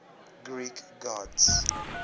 greek gods